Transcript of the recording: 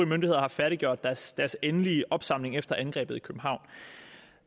myndigheder har færdiggjort deres deres endelige opsamling efter angrebet i københavn